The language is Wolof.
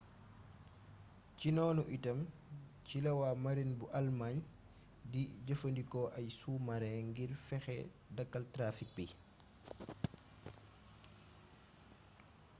ci noonu itam ci la waa marine bu allemagne di jëfandikoo ay sous-marins ngir fexe dakkal trafic bii